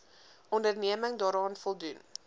onderneming daaraan voldoen